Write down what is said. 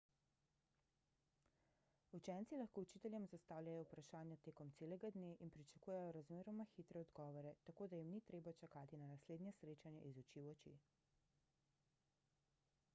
učenci lahko učiteljem zastavljajo vprašanja tekom celega dne in pričakujejo razmeroma hitre odgovore tako da jim ni treba čakati na naslednje srečanje iz oči v oči